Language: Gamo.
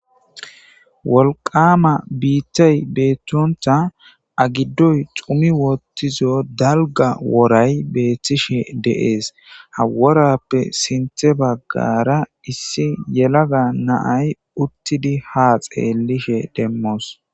wolqama biitthay beeththontha agiddoy cumi woottizo dalga woray beeththishe deees haworappe sinthe baggara issi yelaga naay uttidi ha xeellishe demmoos